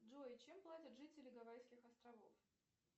джой чем платят жители гавайских островов